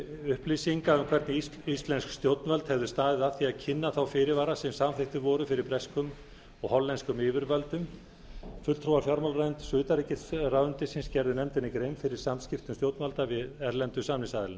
upplýsinga um hvernig íslensk stjórnvöld hefðu staðið að því að kynna þá fyrirvara sem samþykktir voru fyrir breskum og hollenskum yfirvöldum fulltrúar fjármálaráðuneytis og utanríkisráðuneytis gerðu nefndinni grein fyrir samskiptum stjórnvalda við erlendu samningsaðilana